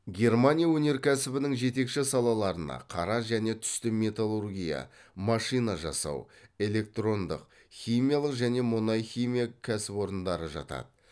германия өнеркәсібінің жетекші салаларына қара және түсті металлургия машина жасау электрондық химиялық және мұнай химия кәсіпорындары жатады